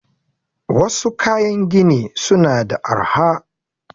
Wassu kayan gini suna da arha